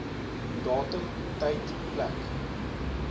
datum tyd plek